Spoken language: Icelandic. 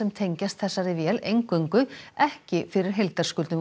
tengjast þessari vél eingöngu ekki fyrir heildarskuldum